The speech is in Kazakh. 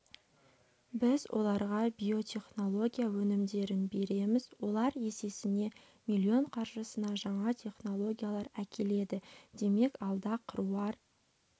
біз оларға биотехнология өнімдерін береміз олар есесіне миллион қаржысына жаңа технологиялар әкеледі демек алда қыруар